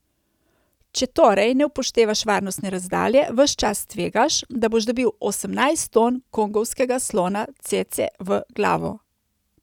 Če torej ne upoštevaš varnostne razdalje, ves čas tvegaš, da boš dobil osemnajst ton kongovskega slona cece v glavo.